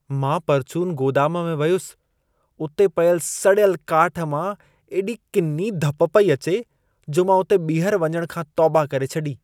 मां परचून गोदाम में वियुसि। उते पियल सड़ियल काठ मां एॾी किनी धप पई अचे जो मां उते ॿीहर वञण खां तौबा करे छॾी।